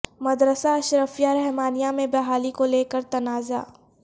مدرسہ اشرفیہ رحمانیہ میں بحالی کو لے کر تنازعہ